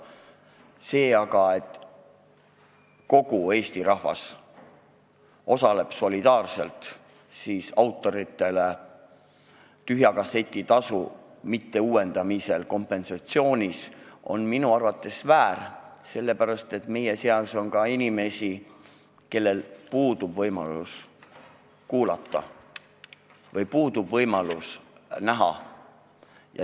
See aga, et kogu Eesti rahvas osaleb solidaarselt autoritele tühja kasseti tasu mitteuuendamise korral kompensatsioonis, on minu arvates väär, sellepärast et meie seas on ka inimesi, kellel puudub võimalus kuulata või näha.